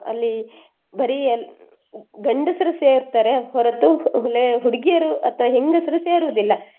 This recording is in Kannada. ಅಲ್ಲಿ ಬರೀ ಅಲ್~ ಗಂಡ್ಸ್ರ್ ಸೇರ್ತಾರೆ ಹೊರತು la~ ಹುಡುಗಿಯರು ಅಥವಾ ಹೆಂಗಸರು ಸೇರುವುದಿಲ್ಲ.